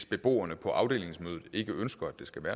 beboerne